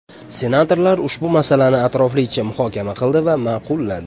Senatorlar ushbu masalani atroflicha muhokama qildi va ma’qulladi.